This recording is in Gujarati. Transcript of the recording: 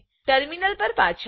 ટર્મિનલ પર પાછા આવો